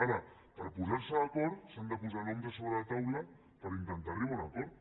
ara per posar se d’acord s’han de posar noms a sobre la taula per intentar arribar a un acord